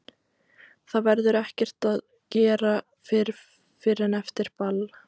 Það verður ekkert að gera fyrr en eftir ball.